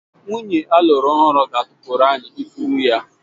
Nwunye alụru ọhụrụ ga-atụpụrụ anyị ifuru ya